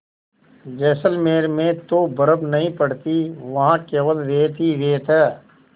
जैसलमेर में तो बर्फ़ नहीं पड़ती वहाँ केवल रेत ही रेत है